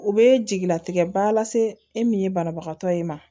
U bɛ jigilatigɛ ba lase e min ye banabagatɔ ye